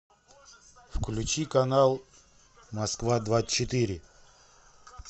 включи канал москва двадцать четыре